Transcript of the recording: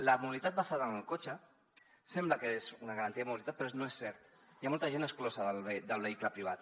la mobilitat basada en el cotxe sembla que és una garantia de mobilitat però no és cert hi ha molta gent exclosa del vehicle privat